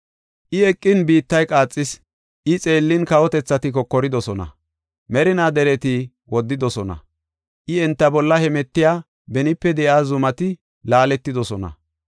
I eqin biittay qaaxis; I xeellin kawotethati kokoridosona. Merinaa dereti woddidosona; I enta bolla hemetiya benipe de7iya zumati laaletidosona.